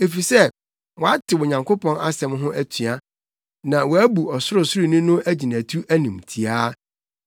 efisɛ wɔatew Onyankopɔn nsɛm ho atua na wɔabu Ɔsorosoroni no agyinatu animtiaa.